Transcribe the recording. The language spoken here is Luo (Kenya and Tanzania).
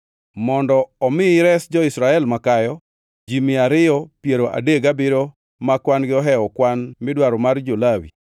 Mondo omi ires jo-Israel makayo ji mia ariyo piero adek gabiriyo ma kwan-gi ohewo kwan midwaro mar jo-Lawi,